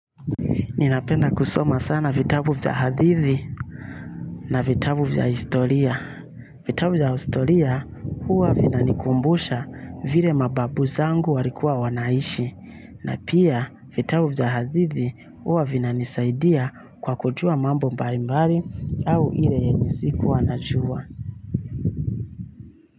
Ninapenda kusoma sana vitabu za hadithi na vitabu vya historia. Vitabu za historia huwa vina nikumbusha vile mababu zangu walikua wanaishi. Na pia, vitabu za hadithi huwa vinanisaidia kwa kujua mambo mbali mbali au ile yenye sikuwa najua.